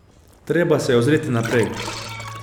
Treba se je ozreti naprej.